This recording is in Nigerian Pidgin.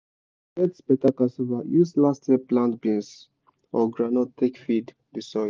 to get beta cassava use last year plant beans or groundnut take feed the soil.